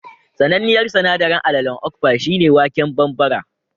Sananniyar sanaɗarin alalen okpa shi ne waken bambara